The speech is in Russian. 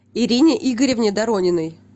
ирине игоревне дорониной